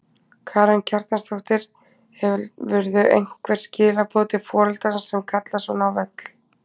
Karen Kjartansdóttir: Hefurðu einhver skilaboð til foreldra sem kalla svona á völl?